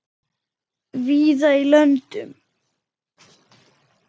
víða í löndum